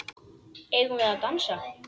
Eigum við að dansa?